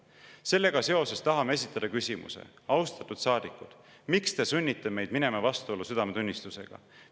Sellega seoses tahame esitada küsimuse – austatud saadikud, miks te sunnite meid minema vastuollu südametunnistusega?